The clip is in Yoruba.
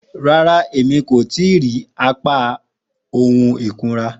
Ràrà, ẹ̀mí kò tìí irí àpá ohun ikùnrà.